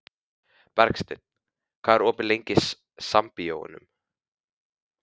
Bergsteinn, hvað er opið lengi í Sambíóunum?